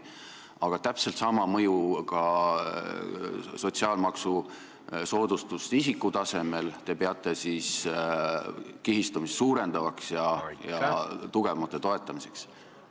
Aga täpselt sama mõjuga sotsiaalmaksusoodustust isiku tasemel te peate kihistumist suurendavaks ja tugevamate toetamiseks.